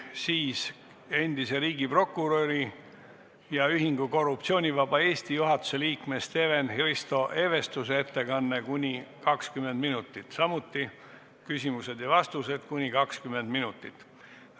Siis on endise riigiprokuröri ja Ühingu Korruptsioonivaba Eesti juhatuse liikme Steven-Hristo Evestuse ettekanne kuni 20 minutit ning küsimused ja vastused kuni 20 minutit.